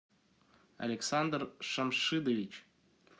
александр шамшидович